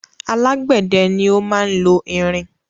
Alágbẹ̀dẹ ni o máa lo irin